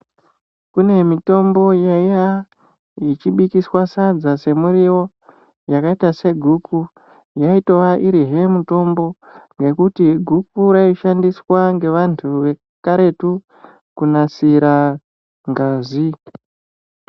Kune mitombo yaiya ichi bikiswa sadza se muriwo yakaita se guku yaitova irizve mutombo nekuti gukura yai shandiswa nge vantu ve karetu ku nasira ngazi.